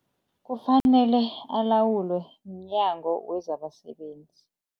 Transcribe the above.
Kufanele alawulwe mnyango wezabasebenzi.